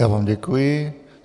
Já vám děkuji.